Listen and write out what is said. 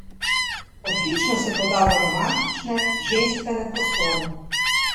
Odlično se poda v romantične, ženstvene prostore.